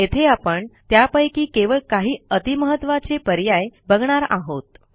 येथे आपण त्यापैकी केवळ काही अति महत्त्वाचे पर्याय बघणार आहोत